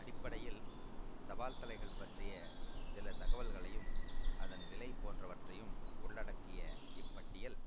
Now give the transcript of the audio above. அடிப்படையில் தபால்தலைகள் பற்றிய சில தகவல்களையும் அதன் விலை போன்றவற்றையும் உள்ளடக்கிய இப் பட்டியல்